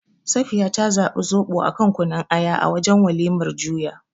Safiya ta zabi Zoɓo a kan Kunun Aya a wajen walimar juya.